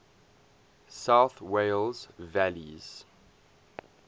south wales valleys